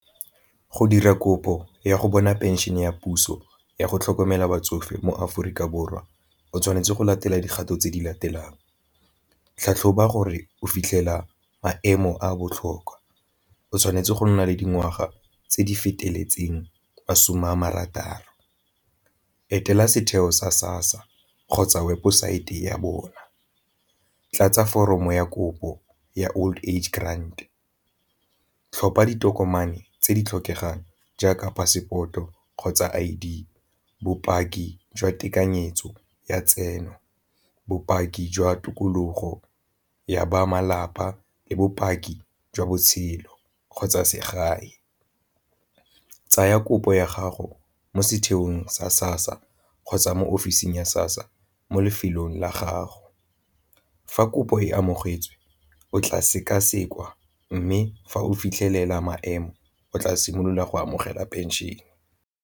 Go dira kopo ya go bona pension ya puso yago tlhokomela batsofe mo Aforika Borwa o tshwanetse go latela dikgato tse di latelang tlhatlhoba gore o fitlhela maemo a a botlhokwa, o tshwanetse go nna le dingwaga tse di feteletseng masome a marataro, etela setheo sa SASSA kgotsa webosaete ya bona, tlatsa foromo ya kopo ya old age grand, tlhopha ditokomane tse di tlhokegang jaaka passport-o kgotsa I_D, bopaki jwa tekanyetso ya tseno, bopaki jwa tikologo ya ba malapa le bopaki jwa botshelo kgotsa segae. Tsaya kopo ya gago mo setheong sa SASSA kgotsa mo ofising ya SASSA mo lefelong la gago, fa kopo e amogetswe o tla sekasekwa mme fa o fitlhelela maemo o tla simolola go amogela pension.